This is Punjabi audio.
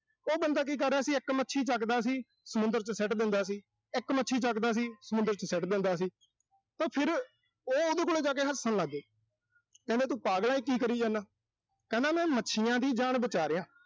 ਉਹ ਬੰਦਾ ਕੀ ਕਰ ਰਿਹਾ ਸੀ, ਇੱਕ ਮੱਛੀ ਚੱਕਦਾ ਸੀ, ਸਮੁੰਦਰ ਚ ਸਿੱਟ ਦਿੰਦਾ ਸੀ। ਇੱਕ ਮੱਛੀ ਚੱਕਦਾ ਸੀ, ਸਮੁੰਦਰ ਚ ਸਿੱਟ ਦਿੰਦਾ ਸੀ। ਤੇ ਫਿਰ ਉਹ ਉਹਦੇ ਕੋਲ ਜਾ ਕੇ ਹੱਸਣ ਲਾਗੇ। ਕਹਿੰਦੇ ਤੂੰ ਪਾਗਲ ਆਂ ਕੀ ਕਰੀ ਜਾਨਾ। ਕਹਿੰਦਾ ਮੈਂ ਮੱਛੀਆਂ ਦੀ ਜਾਨ ਬਚਾ ਰਿਹਾਂ।